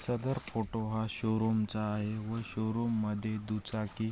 सदर photo showroom चा आहे व शो रूम मध्ये दुचाकी --